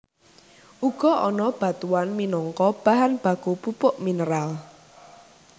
Uga ana batuan minangka bahan baku pupuk mineral